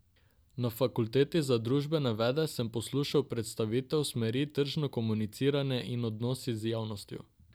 Na Fakulteti za družbene vede sem poslušal predstavitev smeri tržno komuniciranje in odnosi z javnostjo.